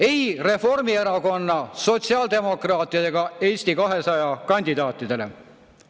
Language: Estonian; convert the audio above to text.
Ei Reformierakonna, sotsiaaldemokraatide ja Eesti 200 kandidaatidele!